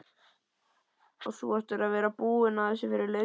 Og þú áttir að vera búinn að þessu fyrir löngu!